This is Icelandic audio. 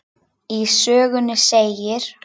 Í sögunni segir